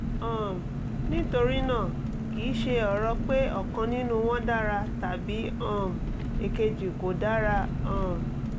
um nítorí náà kì í ṣe ọ̀rọ̀ pé ọ̀kan nínú wọ́n dára tàbí um èkejì kò dára um